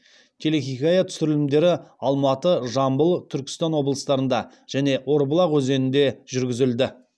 телехикая түсірілімдері алматы жамбыл түркістан облыстарында және орбұлақ өзенінде жүргізілді